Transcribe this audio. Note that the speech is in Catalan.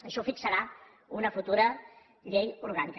això ho fixarà una futura llei orgànica